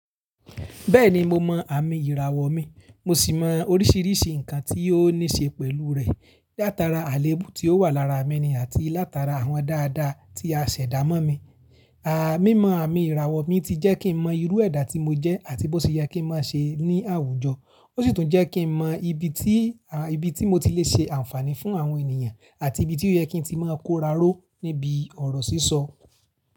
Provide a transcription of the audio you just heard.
Bẹ́ẹ̀ni mo mọ àmì ìràwọ̀ mi, mo sì mọ oríṣiríṣi nǹkan tí ó níṣe pẹ̀lú rẹ̀ látara àléébù tí ó wà lára mi ni àti látara àwọn dáadáa tí a ṣẹ̀dá mọ́ mi. Àmímọ̀ àmì ìràwọ̀ mi ti jẹ́ kí n mọ irú ẹ̀dá tí mo jẹ́ àti bó ti yẹ kí ń máa ṣe ní àwùjọ. Ó sì tún jẹ́ kí n mọ ibi tí, ibi tí mo ti lè ṣe àǹfààní fún àwọn ènìyàn àti ibi tí ó yẹ kí n ti máa kóraró níbi ọ̀rọ̀ sísọ.